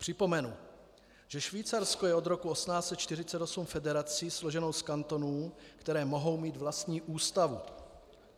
Připomenu, že Švýcarsko je od roku 1848 federací složenou z kantonů, které mohou mít vlastní ústavu.